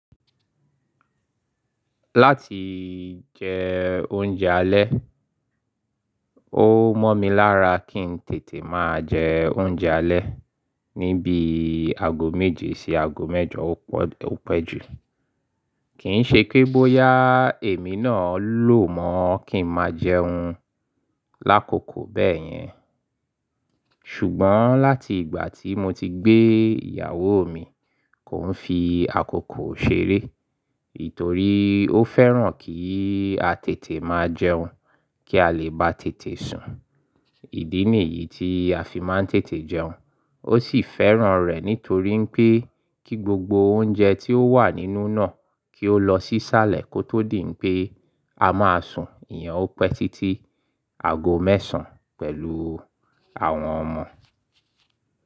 Láti jẹ oúnjẹ alẹ́, ó mọ́ mi lára kí n tètè máa jẹ oúnjẹ alẹ́ ní bí i aago méje sí aago mẹ́jọ ó pẹ́ jù. Kì ń ṣe pé bóyá èmi náà lò mọ́ kí n máa jẹun lákòókò bẹ́ẹ̀ yẹn. Ṣùgbọ́n láti ìgbà tí mo ti gbé ìyàwó mi, kò ń fi àkókò ṣeré. Itò rí, ó fẹ́ràn kí a tètè máa jẹun kí a lè bá tètè sùn. Ìdí nìyí tí a fi máa ń tètè jẹun. Ó sì fẹ́ràn rẹ̀ nítorí pé kí gbogbo oúnjẹ tí ó wà nínú náà kí ó lọ sí sálẹ̀ kó tó dì pé a máa sùn. Ìyẹn ó pẹ́ títí aago mẹ́sàn pẹ̀lú àwọn ọmọ.